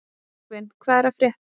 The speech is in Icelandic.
Bergvin, hvað er að frétta?